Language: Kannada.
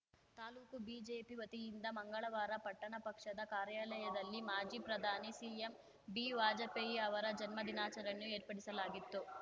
ತಾಲೂಕು ಬಿಜೆಪಿ ವತಿಯಿಂದ ಮಂಗಳವಾರ ಪಟ್ಟಣ ಪಕ್ಷದ ಕಾರ್ಯಾಲಯದಲ್ಲಿ ಮಾಜಿ ಪ್ರಧಾನಿ ಸಿಎಂಬಿ ವಾಜಪೇಯಿ ಅವರ ಜನ್ಮ ದಿನಾಚರಣೆಯ ಏರ್ಪಡಿಸಲಾಗಿತ್ತು